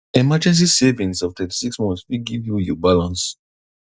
emergency savings of 36 months fit give you you balance